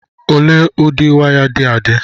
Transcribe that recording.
ole ụdị waya dị adị